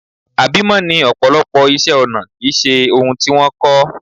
Àbímọ́ ni ọ̀pọ̀lọpọ̀ iṣẹ́-ọnà kì í ṣe ohun tí wọ́n kọ́.